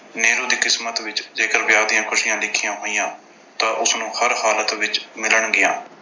ਨੀਰੂ ਦੀ ਕਿਸਮਤ ਵਿੱਚ ਜੇਕਰ ਵਿਆਹ ਦੀਆਂ ਖੁਸ਼ੀਆਂ ਲਿਖੀਆਂ ਹੋਈਆਂ ਤਾਂ ਉਸਨੂੰ ਹਰ ਹਾਲਤ ਵਿੱਚ ਮਿਲਣਗੀਆਂ।